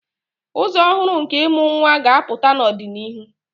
Ụzọ ọhụrụ nke ịmụ nwa ga-apụta n'ọdịnihu.